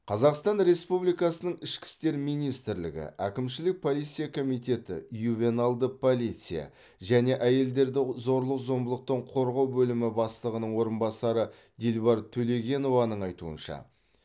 қазақстан республикасының ішкі істер министрлігі әкімшілік полиция комитеті ювеналды полиция және әйелдерді зорлық зомбылықтан қорғау бөлімі бастығының орынбасары дилбар төлегенованың айтуынша